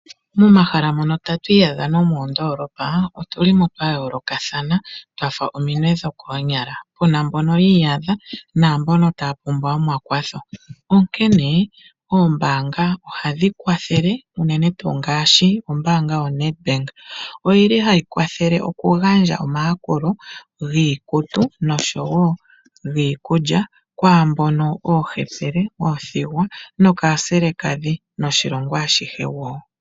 Momahala mono tatu iyadha nomoondoolopa, otu li mo twa yoolokathana twa fa ominwe dhokoonyala. Pu na mbono yi iyadha naa mbono taya pumbwa omakwatho, onkene oombaanga ohadhi kwathele unene tuu ngaashi ombaanga yoNedbank. Ohayi kwathele okugandja omayakulo giikutu noshowo giikulya, kwaambono oohepele, oothigwa nookaaselekadhi noshilongo ashihe woo.